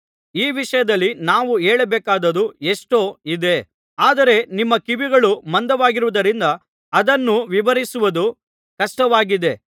ಈ ವಿಷಯದಲ್ಲಿ ನಾವು ಹೇಳಬೇಕಾದದ್ದು ಎಷ್ಟೋ ಇದೆ ಆದರೆ ನಿಮ್ಮ ಕಿವಿಗಳು ಮಂದವಾಗಿರುವುದರಿಂದ ಅದನ್ನು ವಿವರಿಸುವುದು ಕಷ್ಟವಾಗಿದೆ